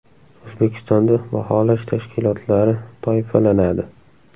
O‘zbekistonda baholash tashkilotlari toifalanadi.